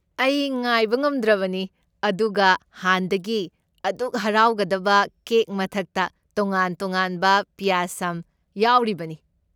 ꯑꯩ ꯉꯥꯏꯕ ꯉꯝꯗ꯭ꯔꯕꯅꯤ, ꯑꯗꯨꯒ ꯍꯥꯟꯗꯒꯤ ꯑꯗꯨꯛ ꯍꯥꯎꯔꯒꯗꯕ ꯀꯦꯛ ꯃꯊꯛꯇ ꯇꯣꯉꯥꯟ ꯇꯣꯉꯥꯟꯕ ꯄꯌꯥꯁꯝ ꯌꯥꯎꯔꯤꯕꯅꯤ꯫